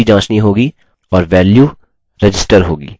साथ ही हमें मौजूदगी जाँचनी होगी और वैल्यू register होगी